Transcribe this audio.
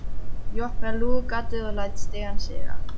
Ég opna lúgugatið og læt stigann síga.